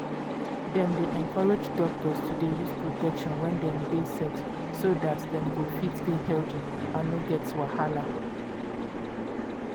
dem dey encourage doctors to dey use protection wen dem dey sex so dat dem go fit dey healthy and no get wahala.